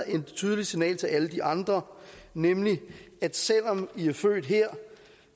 et tydeligt signal til alle de andre nemlig at selv om i er født her